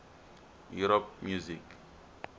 europe music